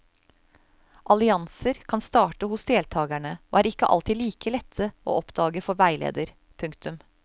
Allianser kan starte hos deltakerne og er ikke alltid like lette å oppdage for veileder. punktum